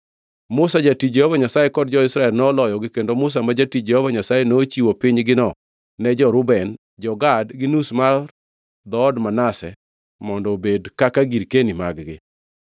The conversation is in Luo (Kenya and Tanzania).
Musa, jatich Jehova Nyasaye kod jo-Israel noloyogi kendo Musa ma jatich Jehova Nyasaye nochiwo pinygino ne jo-Reuben, jo-Gad gi nus mar dhood Manase mondo obed kaka girkeni mag-gi.